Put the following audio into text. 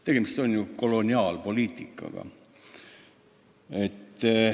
Tegemist on ju koloniaalpoliitikaga.